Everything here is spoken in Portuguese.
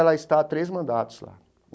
Ela está há três mandatos lá.